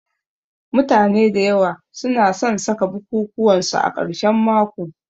Mutane da yawa su na san saka bukukuwan su a karshen mako